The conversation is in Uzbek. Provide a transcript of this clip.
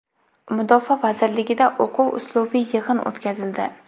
Mudofaa vazirligida o‘quv-uslubiy yig‘in o‘tkazildi .